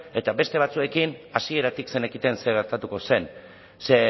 eta beste batzuekin hasieratik zenekiten zer gertatuko zen ze